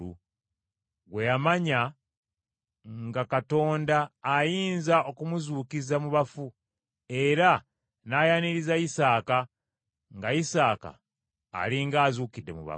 gwe yamanya nga Katonda ayinza okumuzuukiza mu bafu, era n’ayaniriza Isaaka, nga Isaaka ali ng’azuukidde mu bafu.